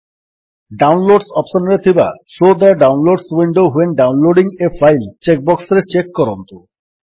downloads option ରେ ଥିବା show the downloads window when downloading a file check ବକ୍ସରେ check କରନ୍ତୁ